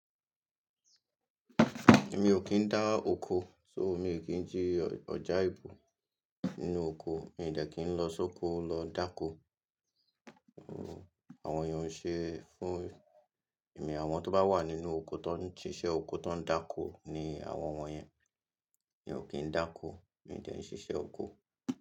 Èmi ò kí ń dá oko, so mi ò kí ń jí ọjà ìbò nínú oko, mi ò dẹ́kí ń lọ sóko lọ dáko. Àwọn èèyàn ń ṣe fún èmi, àwọn tó bá wà nínú oko, tó ń ṣíṣe oko, tó ń dáko ni àwọn yẹn. Èmi ò kí ń dáko, mi ò dẹ́kìn ṣiṣẹ́ oko.